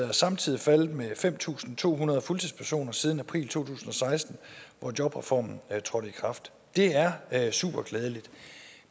er samtidig faldet med fem tusind to hundrede fuldtidspersoner siden april to tusind og seksten hvor jobreformen trådte i kraft det er er superglædeligt